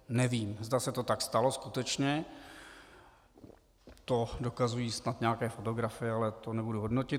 Nevím, zda se to tak stalo skutečně, to dokazují snad nějaké fotografie, ale to nebudu hodnotit.